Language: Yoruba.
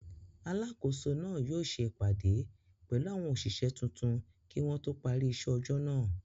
Alákòóso náà yóò ṣe ìpàdé pẹ̀lú àwọn òṣìṣẹ́ tuntun kí wọn tó parí iṣẹ́ ọjọ́ náà.